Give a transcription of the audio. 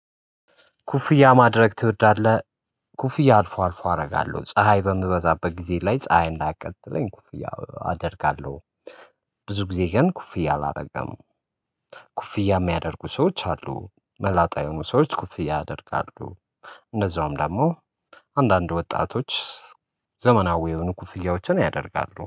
ኩፍያ ማድረግ ትወዳለህ? ኩፍያ አልፎ አልፎ አደርጋለሁ ፀሀይ በምበዛበት ጊዜ ላይ ፀሀይ እንዳያቀጥለኝ ኩፍያ አደርጋለሁ። ብዙ ጊዜ ግን ኩፍያ አላደርግም። ኩፍያ የሚያደርጉ ሰዎች አሉ መላጣ የሆኑ ሰዎች ኩፍያ ያደርጋሉ። እንደዛውም ደግሞ አንዳንድ ወጣቶች ዘመናዊ የሆኑ ኩፍያዎችን ያደርጋሉ